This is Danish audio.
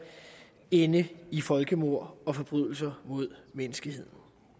ende i folkemord og forbrydelser mod menneskeheden